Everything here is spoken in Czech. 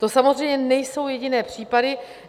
To samozřejmě nejsou jediné případy.